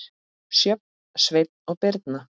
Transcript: Sjöfn, Sveinn og Birna.